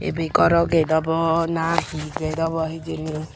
ibe goro get obo na hi get obo hijeni.